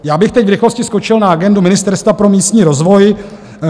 Já bych teď v rychlosti skočil na agendu Ministerstva pro místní rozvoj.